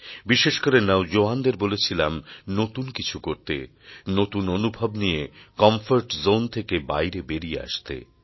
বিশেষ করে নওজোয়ানদের বলেছিলাম নতুন কিছু করতে নতুন অনুভব নিয়ে কমফোর্ট জোন থেকে বাইরে বেরিয়ে আসতে